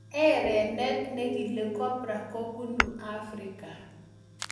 Erenet nekilee cobra kobunuu afrika